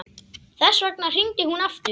Þess vegna hringdi hún aftur.